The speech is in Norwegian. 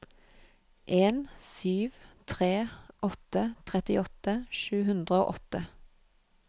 en sju tre åtte trettiåtte sju hundre og åtte